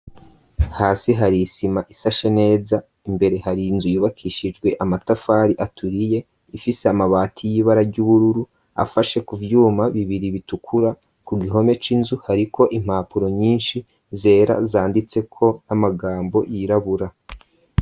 Hasi, hari isima, isashe neza; imbere, hari inzu, yubakishijwe amatafari aturiye, ifise amabati, y'ibara ry'ubururu, afashe ku vyuma bibiri, bitukura; ku gihome c'inzu, hariko impapuro nyinshi, zera, zanditseko amagambo, yirabura.